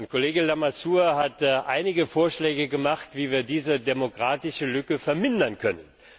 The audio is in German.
Kollege Lamassoure hat einige Vorschläge gemacht, wie wir diese Demokratielücke vermindern können.